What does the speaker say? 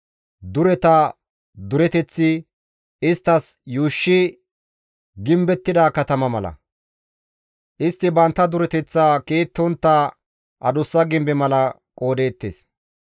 Dureta dureteththi isttas yuushoy gimbettida katama mala; istti bantta dureteththa ke7ettontta adussa gimbe mala qoodettees.